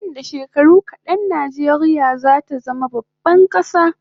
Nan da shekaru kadan Najeriya zata zama baban kasa